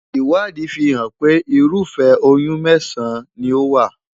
Ìwádìí fi hàn pé ırúfẹ́ oyún mẹ́sàn-án ni ó wà.